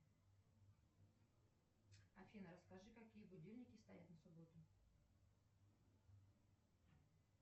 афина расскажи какие будильники стоят на субботу